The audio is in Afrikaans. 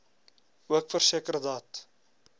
ook verseker dat